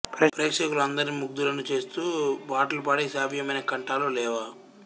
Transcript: ప్రేక్షకులందర్నీ ముగ్ధులను చేస్తూ పాటలు పాడే శ్రావ్వమైన కంఠాలు లేవా